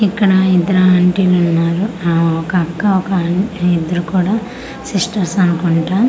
ఇక్కడ ఇద్దరు ఆంటీలు ఉన్నారు ఆ ఒక అక్క ఒక ఆంటీ ఇద్దరు కూడా సిస్టర్స్ అనుకుంటా.